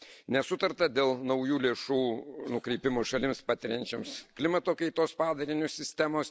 Nesutarta dėl naujų lėšų nukreipimo šalims, patiriančioms klimato kaitos padarinius, sistemos.